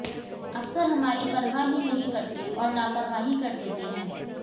अफसर हमारी परवाह ही नहीं करते और लापरवाही कर देते हैं